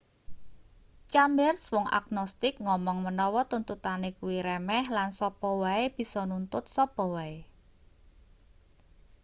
chambers wong agnostik ngomong menawa tuntutane kuwi remeh lan sapa wae bisa nuntut sapa wae